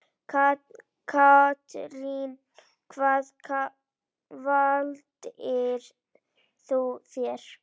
Katrín: Hvað valdirðu þér?